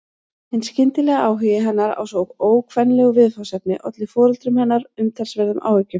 Hinn skyndilegi áhugi hennar á svo ókvenlegu viðfangsefni olli foreldrum hennar umtalsverðum áhyggjum.